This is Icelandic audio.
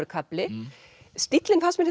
kafli stíllinn fannst mér